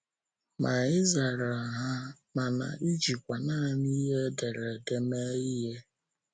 Ma ị zara ha, mana ịjikwa nanị ihe ederede mee ihe!